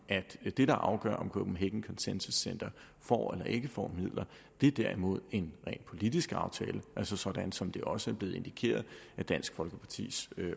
at det der afgør om copenhagen consensus center får eller ikke får midler derimod en rent politisk aftale sådan som det også er blevet indikeret af dansk folkepartis